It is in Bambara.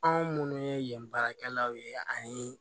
Anw minnu ye yen baarakɛlaw ye ani